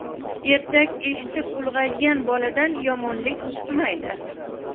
Ertak eshitib ulg‘aygan boladan yomonlik chiqmaydi.